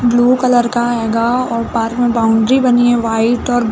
blue colour का हैगा और पार्क में बाउंड्री बनी है व्हाइट और --